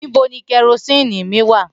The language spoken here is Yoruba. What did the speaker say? Nibo ni kerosene mi wa?